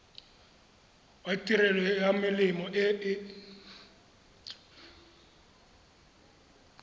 wa tirelo ya melemo e